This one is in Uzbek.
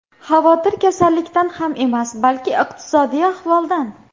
Xavotir kasallikdan ham emas, balki iqtisodiy ahvoldan.